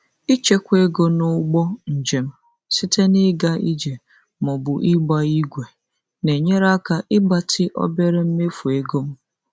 Ịchekwa ego n'ụgbọ njem site na ịga ije ma ọ bụ ịgba ígwè na-enyere aka ịgbatị obere mmefu ego m.